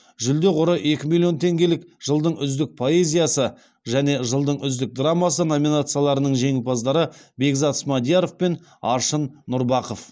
жүлде қоры екі миллион теңгелік жылдың үздік поэзиясы және жылдың үздік драмасы номинацияларының жеңімпаздары бекзат смадияров пен аршын нұрбақов